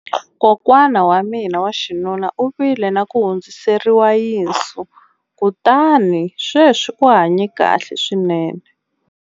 kokwana wa mina wa xinuna u vile na ku hundziseriwa yinsu kutani sweswi u hanye kahle swinene